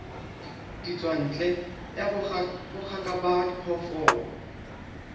ditswantle ya bongaka ba diphoofolo